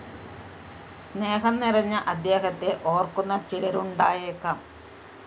സ്‌നേഹം നിറഞ്ഞ അദ്ദേഹത്തെ ഓര്‍ക്കുന്ന ചിലരുണ്ടായേക്കാം